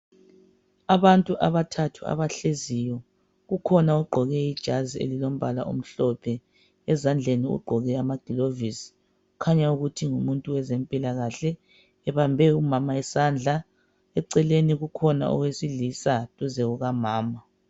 Abantu abathathu abahleziyo. Kukhona ogqoke ijazi elilombala omhlophe ezandleni ogqoke ama glovisi kukhanya ukuthi ngumuntu wezempilakahle ebambe umama isandla ,eceleni kukhona owesilisa duze kukamama.